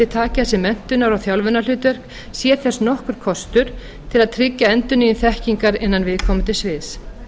taki að sér menntunar og þjálfunarhlutverk sé þess nokkur kostur til að tryggja endurnýjun þekkingar innan viðkomandi sviðs